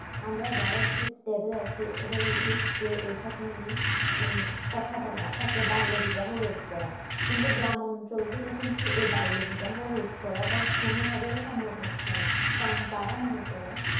আমরা যারাএকটু stable আছি এবং দেখছে এই সব নিয়ে মানে কথা বলা বাল্য বিবাহ রোদ করা কিন্তু গ্রাম অঞ্চল থেকে কিন্তু এই বাল্য বিবাহ রোদ করাটা কোনো ভাবেই সম্ভব হচ্ছে না কারণ তারা মনে করে